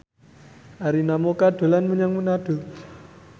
Arina Mocca dolan menyang Manado